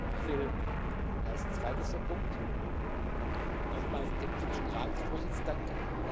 Ich will als zweitletzter Punkt nochmals dem finnischen Ratsvorsitz danken.